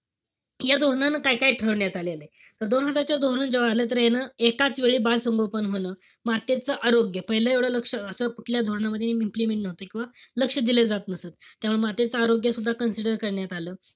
या धोरणानं काय-काय ठरवण्यात आलेलंय. तर दोन हजारच धोरण जेव्हा आलं तर यान एकाच वेळी बालसंगोपन होणं, मातेचं आरोग्य, असं कुठल्याही धोरणामध्ये implement नव्हतं. किंवा लक्ष दिलं जात नसत. त्यावेळी मातेचं आरोग्य सुद्धा consider करण्यात आलं.